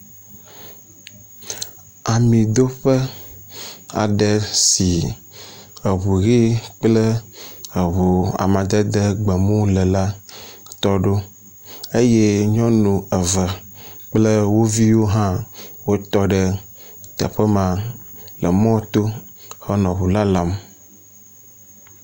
Amidoƒe aɖe si eŋu ʋi kple eŋu amadede gbemu le la tɔ ɖo eye nyɔnu eve kple wo viwo hã wotɔ ɖe teƒe ma le mɔto henɔ ŋu lalam.